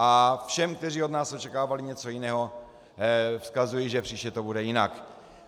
A všem, kteří od nás očekávali něco jiného, vzkazuji, že příště to bude jinak.